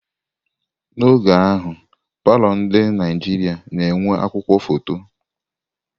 N'oge ahụ, palọ ndi Naijiria na enwe akwukwuo foto.